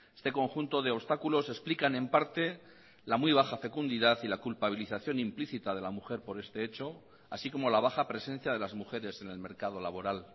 este conjunto de obstáculos explican en parte la muy baja fecundidad y la culpabilización implícita de la mujer por este hecho así como la baja presencia de las mujeres en el mercado laboral